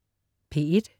P1: